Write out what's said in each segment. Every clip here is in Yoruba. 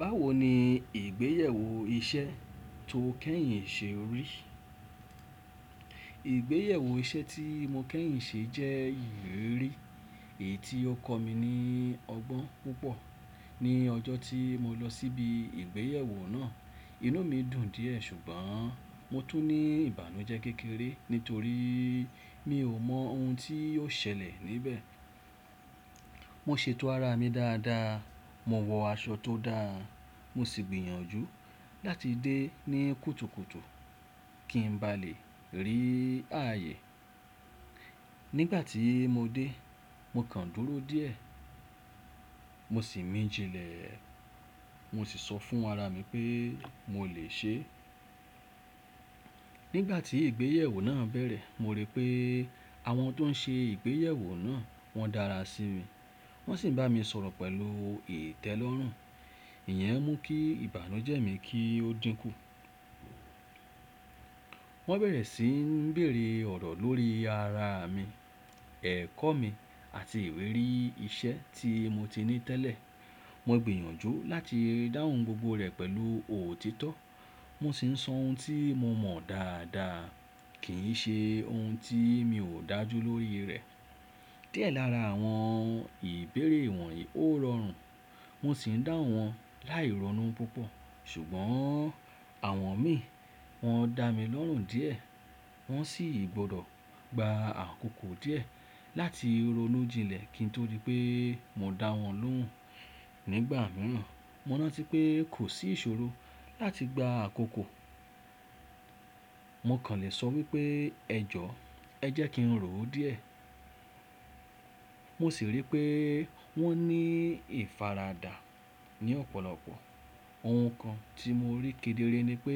Báwo ni ìgbéyẹ̀wò iṣẹ́ tó kẹ́yìn ṣe rí? Ìgbéyẹ̀wò iṣẹ́ tí mo kẹ́yìn ṣe jẹ́ ìrírí èyí tí ó kọ mí ní ọgbọ́n púpọ̀. Ni ọjọ́ tí mo lọ síbi Ìgbéyẹ̀wò náà, inú mi dùn díẹ̀ ṣùgbọ́n mo tún ní ìbànújẹ́ kékeré nítorí mi ò mọ ohun tí yóò ṣẹlẹ̀ níbẹ̀. Mo ṣètò ara mi dáadáa, mo wọ aṣọ tó dáa, mo sì gbìyànjú láti dé ní kùtùkùtù kí n ba lè rí ààyè. Nígbà tí mo dé, mo kàn dúró díẹ̀, mo sì min jinlẹ̀, mo sì sọ fún ara mi pé mo lè ṣe. Nígbà tí Ìgbéyẹ̀wò náà bẹ̀rẹ̀, mo rí pé àwọn tó ń ṣe Ìgbéyẹ̀wò náà wọ́n dára sí mi. Wọ́n sì ń bá mi sọ̀rọ̀ pẹ̀lú ìtẹ́lọ́rùn, ìyẹn mú kí ìbànújẹ́ mi kí ó dínkù. Wọ́n bẹ̀rẹ̀ sí ń bèèrè ọ̀rọ̀ lórí ara mi, ẹ̀kọ́ mi àti ìwérí iṣẹ́ tí mo ti ní tẹ́lẹ̀. Mo gbìyànjú láti dáhùn gbogbo rẹ̀ pẹ̀lú òtítọ́. Mo sì ń sọ ohun tí mo mọ̀ dáadáa kì í ṣe ohun tí mi ò dájú lórí rẹ̀. Díẹ̀ lára àwọn ìbéèrè wọ̀nyí ó rọrùn, mo sì ń dáhùn wọn láì rọnu púpọ̀. Ṣùgbọ́n àwọn mi wọ́n dá mi lọ́rùn díẹ̀, wọ́n sì gbọ́dọ̀ gba àkókò díẹ̀ láti ronú jinlẹ̀ kí n tó rí pé mo dá wọn lóhùn. Nígbà mìíràn, mo rántí pé kò sí ìṣòro láti gba àkókò, mo kàn lè sọ wípé ẹ jọ, ẹ jẹ́ kí n rò ó díẹ̀. Mo sì rí pé wọ́n ní ìfaradà ní ọ̀pọ̀lọpọ̀. Ohun kan tí mo rí kedere ni pé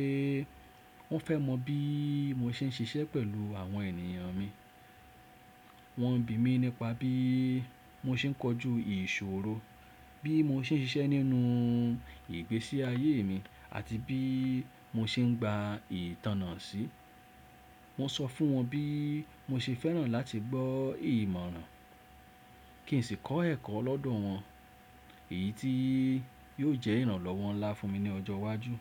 wọ́n fẹ́ mọ bí mo ṣe ń ṣiṣẹ́ pẹ̀lú àwọn ènìyàn mi. Wọn n bì mí nípa bí mo ṣe ń kojú ìṣòro, bí mo ṣe ń ṣiṣẹ́ nínú ìgbésí ayé mi àti bí mo ṣe ń gba ìtànná sí. Mo sọ fún wọn bí mo ṣe fẹ́ràn láti gbọ́ ìmọ̀ràn kí n sì kọ́ ẹ̀kọ́ lọ́dọ̀ wọn, èyí tí yóò jẹ́ ìrànlọ́wọ́ ńlá fún mi ní ọjọ́ iwájú.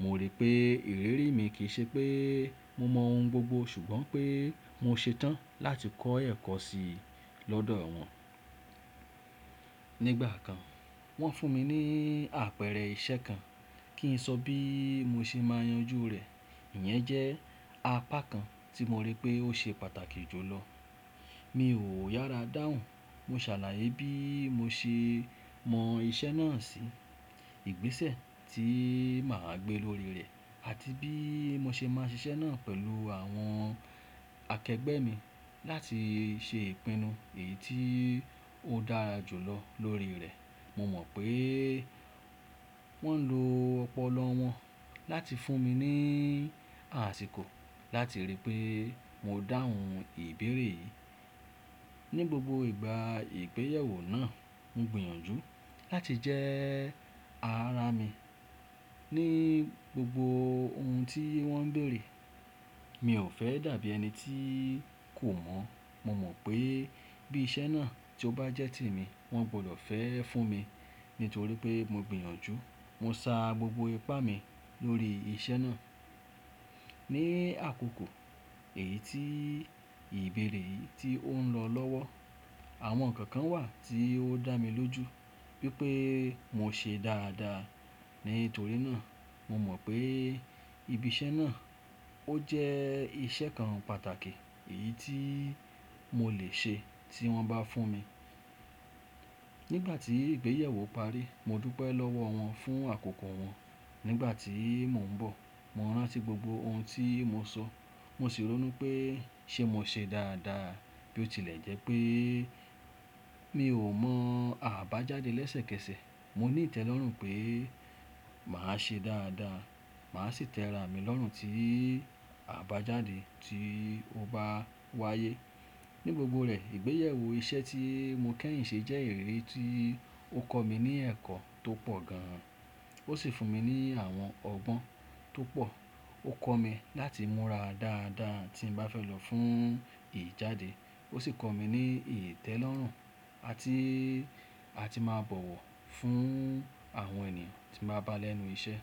Mo rí pé ìrírí mi kì í ṣe pé mo mọ ohun gbogbo ṣùgbọ́n pé mo ṣetán láti kọ́ ẹ̀kọ́ sí i lọ́dọ̀ wọn. Nígbà kan, wọ́n fún mi ní àpẹẹrẹ iṣẹ́ kan kí n sọ bí mo ṣe máa yanjú rẹ̀. Ìyẹn jẹ́ apá kan tí mo rí pé ó ṣe pàtàkì jù lọ. Mi ò yára dáhùn, mo ṣàlàyé bí mo ṣe mọ iṣẹ́ náà sí, ìgbésẹ̀ tí màá gbé lórí rẹ̀ àti bí mo ṣe máa ṣiṣẹ́ náà pẹ̀lú àwọn akẹgbẹ́ mi láti ṣe ìpinnu èyí tí ó dára jù lọ lórí rẹ̀. Mo mọ̀ pé wọ́n ń lo ọpọlọ wọn láti fún mi ní àsìkò láti ríi pé mo dáhùn ìbéèrè yìí. Ni gbogbo ìgbà Ìgbéyẹ̀wò náà, mo gbìyànjú láti jẹ́ ara mi ní gbogbo ohun tí wọ́n ń bèèrè. Mi ò fẹ́ dàbí ẹni tí kò mọ̀. Mo mọ̀ pé bí iṣẹ́ náà tó bá jẹ́ tèmi, wọ́n gbọ́dọ̀ fẹ́ ẹ́ fún mi nítorí pé mo gbìyànjú, mo sá gbogbo ipá mi lórí iṣẹ́ náà. Ni àkókò èyí tí ìbéèrè yìí tí ó ń lọ lọ́wọ́, àwọn ǹkan kan wà tí ó dá mi lójú wípé mo ṣe dáadáa. Nítorí náà, mo mọ̀ pé ibi iṣẹ́ náà ó jẹ́ iṣẹ́ kan pàtàkì èyí tí mo lè ṣe tí wọ́n bá fún mi. Nígbà tí ìgbéyàwó parí, mo dúpẹ́ lọ́wọ́ wọn fún àkókò wọn. Nígbà tí mò ń bọ̀, mo rántí gbogbo ohun tí mo sọ, mo sì ronú pé ṣé mo ṣe dáadáa bí ó tilẹ̀ jẹ́ pé mi ò mọ àbájáde lẹ́sẹ̀kẹsẹ̀. Mo ní ìtẹ́lọ́rùn pé màá ṣe dáadáa, màá sì tẹra mi lọ́rùn ti àbájáde tí ó bá wáyé. Ni gbogbo rẹ̀, Ìgbéyẹ̀wò iṣẹ́ tí mo kẹ́yìn ṣe jẹ́ ìrírí tí ó kọ mí ní ẹ̀kọ́ tó pọ̀ gan. Ó sì fún mi ní àwọn ọgbọ́n tó pọ̀. Ó kọ́ mi láti múra dáadáa tí mbá fẹ́ lọ fún ìjáde, ó sì kọ́ mi ní ìtẹ́lọ́rùn à tí a ti máa bọ̀wọ̀ fún àwọn ènìyàn tí n bá bá lẹ́nu iṣẹ́.